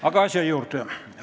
Aga asja juurde!